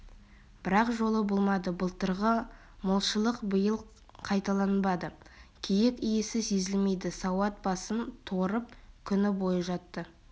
бірақ жолы болмады былтырғы молшылық биыл қайталанбады киік иісі сезілмейді суат басын торып күні бойы жатты